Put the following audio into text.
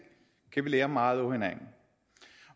kan vi lære meget af hinanden